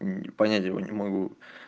понятия его не могу